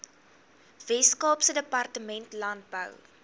weskaapse departement landbou